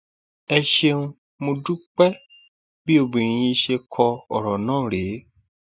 ẹ ṣeun mọ dúpẹ bí obìnrin yìí ṣe kọ ọrọ náà rèé